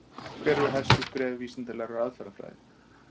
Hver eru helstu skref vísindalegrar aðferðafræði?